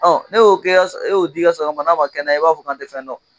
Ne e y'o di i ka saga ma n'a ma kɛnɛya i b'a fɔ k'an tɛ fɛn dɔn